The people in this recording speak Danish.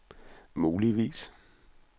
muligvis